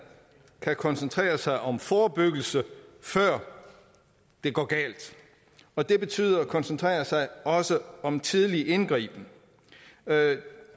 kan koncentrere sig om forebyggelse før det går galt og det betyder også at koncentrere sig om tidlig indgriben